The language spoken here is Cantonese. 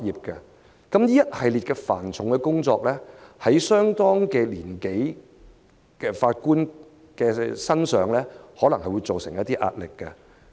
這一系列繁重的工作，對年紀相當的法官可能造成一定壓力。